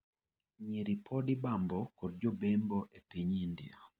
Nyiri pod ibambo kod jobembo e piny India.